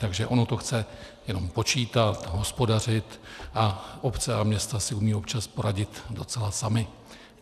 Takže ono to chce jenom počítat, hospodařit a obce a města si umí občas poradit docela samy.